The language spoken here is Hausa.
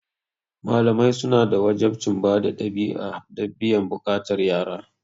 Malamai suna da wajabcin bada ɗabi'a da biyan buƙatar yara.